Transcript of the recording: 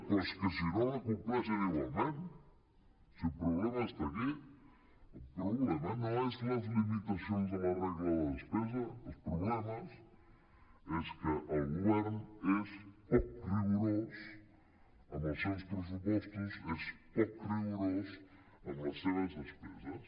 però és que si no la com·pleixen igualment si el problema està aquí el problema no són les limitacions a la regla de la despesa el problema és que el govern és poc rigorós amb els seus pressu·postos és poc rigorós amb les seves despeses